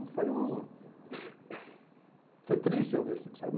foi um... Foi triste eu ver aquilo, sabe?